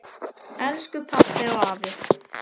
Elsku pabbi og afi.